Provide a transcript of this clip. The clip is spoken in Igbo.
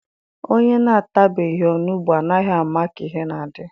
Onye na-atabeghị onugbu anaghị ama ka ihe na-adị